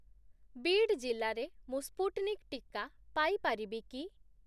ବୀଡ୍ ଜିଲ୍ଲାରେ ମୁଁ ସ୍ପୁଟ୍‌ନିକ୍ ଟିକା ପାଇ ପାରିବି କି?